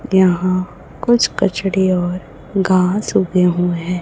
यहाँ कुछ कचड़े और घास उगे हुए है।